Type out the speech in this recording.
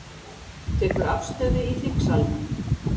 Tekur afstöðu í þingsalnum